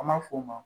An b'a f'o ma